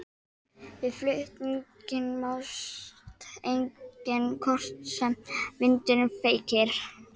Við flutninginn mást einnig kornin sem vindurinn feykir.